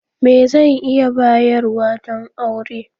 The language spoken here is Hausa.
Me zan iya bayarwa don aure?